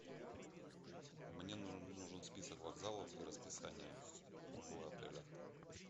мне нужен список вокзалов и расписание около отеля